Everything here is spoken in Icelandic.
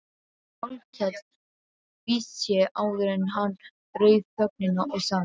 Hallkell tvísté áður en hann rauf þögnina og sagði